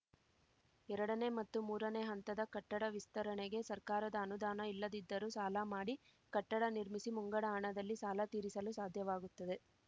ಎರಡನೇ ಮತ್ತು ಮೂರನೇ ಹಂತದ ಕಟ್ಟಡ ವಿಸ್ತರಣೆಗೆ ಸರ್ಕಾರದ ಅನುದಾನ ಇಲ್ಲದಿದ್ದರೂ ಸಾಲ ಮಾಡಿ ಕಟ್ಟಡ ನಿರ್ಮಿಸಿ ಮುಂಗಡ ಹಣದಲ್ಲಿ ಸಾಲ ತೀರಿಸಲು ಸಾಧ್ಯವಾಗುತ್ತದೆ